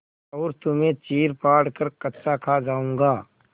और तुम्हें चीरफाड़ कर कच्चा खा जाऊँगा